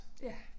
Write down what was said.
Ja